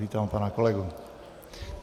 Vítám pana kolegu.